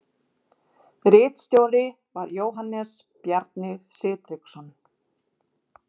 Ritstjóri var Jóhannes Bjarni Sigtryggsson.